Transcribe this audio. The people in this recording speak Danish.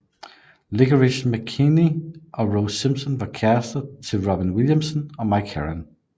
Licorice McKechnie og Rose Simpson var kærrester til Robin Williamson og Mike Heron